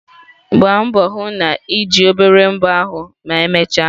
Gbaa mbọ hụ na ị na-eji obere mbọ ahụ emechaa.